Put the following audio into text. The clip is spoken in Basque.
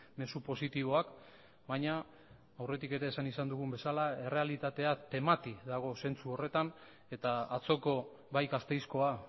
mezu positiboak baina aurretik ere esan izan dugun bezala errealitatea temati dago zentzu horretan eta atzoko bai gasteizkoa